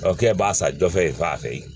kɛ b'a san jɔfɛ a fɛ yen